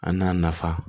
A n'a nafa